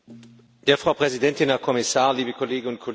Frau Präsidentin, Herr Kommissar, liebe Kolleginnen und Kollegen!